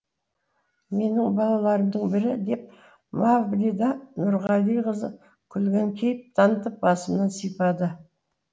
менің балаларымның бірі деп мавлида нұрғалиқызы күлген кейіп танытып басымнан сипады